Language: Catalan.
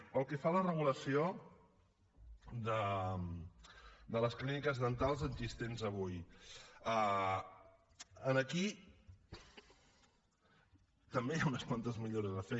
pel que fa a la regulació de les clíniques dentals existents avui aquí també hi ha unes quantes millores a fer